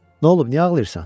Nolub, niyə ağlayırsan?